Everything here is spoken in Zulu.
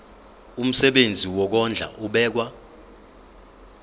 umsebenzi wokondla ubekwa